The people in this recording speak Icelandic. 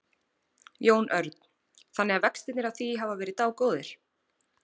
Jón Örn: Þannig að vextirnir af því hafa verið dágóðir?